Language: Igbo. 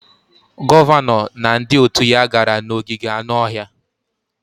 Gọvanọ na ndị òtù ya gara n'ogige anụ ọhịa.